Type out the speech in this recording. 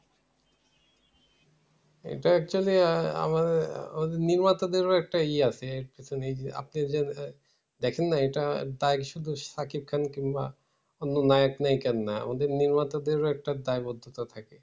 এটা actually আমা~ আমাদের নির্মাতাদেরও একটা ই আছে। এই যে আপনি যে দেখেন না এইটার দায় শুধু সাকিব খান কিংবা অন্য নায়ক নায়িকার না। আমাদের নির্মাতাদেরও একটা দায়বদ্ধতা থাকে।